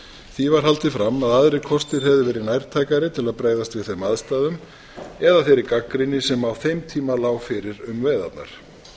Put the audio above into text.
því var haldið fram að aðrir kostir hefðu verið nærtækari til að bregðast við þeim aðstæðum eða þeirri gagnrýni sem á þeim tíma lá fyrir um veiðarnar